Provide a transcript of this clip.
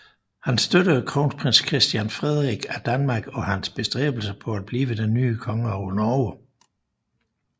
Han støttede kronprins Christian Frederik af Danmark og hans bestræbelser på at blive den nye konge over Norge